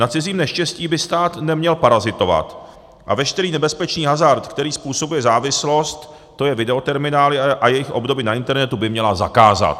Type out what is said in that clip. Na cizím neštěstí by stát neměl parazitovat a veškerý nebezpečný hazard, který způsobuje závislost, to je videoterminály a jejich obdoby na internetu, by měl zakázat!